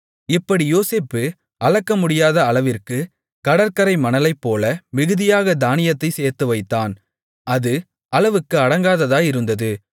இப்படி யோசேப்பு அளக்கமுடியாத அளவிற்குக் கடற்கரை மணலைப்போல மிகுதியாகத் தானியத்தைச் சேர்த்துவைத்தான் அது அளவுக்கு அடங்காததாயிருந்தது